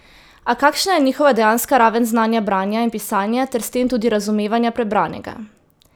A kakšna je njihova dejanska raven znanja branja in pisanja ter s tem tudi razumevanja prebranega?